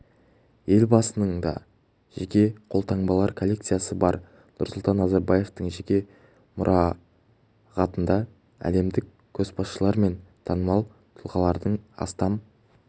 елбасының да жеке қолтаңбалар коллекциясы бар нұрсұлтан назарбаевтың жеке мұрағатында әлемдік көшбасшылар мен танымал тұлғалардың астам